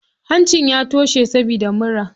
Hancin ya toshe saboda mura.